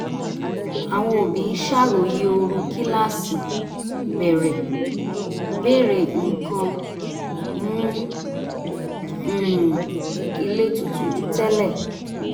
àwọn òbí ń ṣàròyé ooru kíláàsì bẹ̀rẹ̀ béèrè nǹkan mú um ilé tutù ju tẹ́lẹ̀